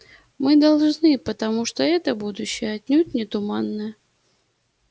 мы должны потому что это будущее отнюдь не туманное